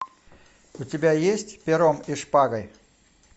у тебя есть пером и шпагой